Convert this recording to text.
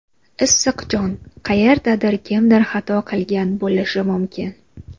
Issiq jon, qayerdadir kimdir xato qilgan bo‘lishi mumkin.